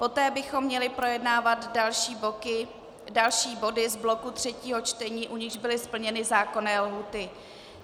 Poté bychom měli projednávat další body z bloku třetího čtení, u nichž byly splněny zákonné lhůty.